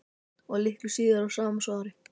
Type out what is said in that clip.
Og litlu síðar í sama svari